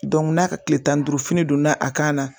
n'a ka kile tan ni duuru fini donna a kan na